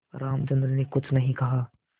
रामचंद्र ने कुछ नहीं कहा